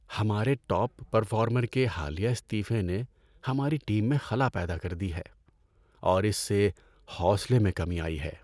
ہمارے top performer کے حالیہ استعفے نے ہماری ٹیم میں خلا پیدا کر دی ہے اور اس سے حوصلے میں کمی آئی ہے۔